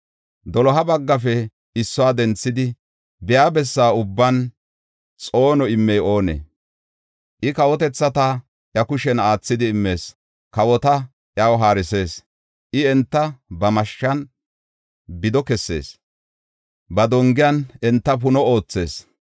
“Doloha baggafe issuwa denthidi biya bessa ubban xoono immey oonee? I kawotethata iya kushen aathidi immees; kawota iyaw haarisis. I enta ba mashshan bido kessees; ba dongiyan enta puno oothees.